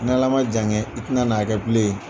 N ala ma jan kɛ, i tɛna n'a kɛ bilen .